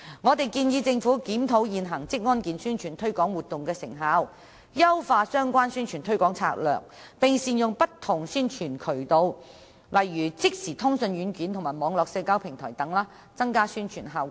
我們建議政府檢討現時職安健宣傳推廣活動的成效，優化相關宣傳推廣策略，並善用不同宣傳渠道，例如即時通訊軟件和網絡社交平台等，以提升宣傳效果。